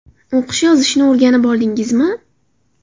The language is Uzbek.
O‘qish, yozishni o‘rganib oldingizmi?